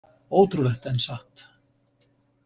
Ótrúlegt en satt!